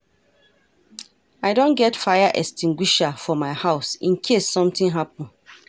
I don get fire extinguisher for my house in case something happen